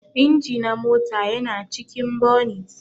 Inji na mota yana cikin bonit.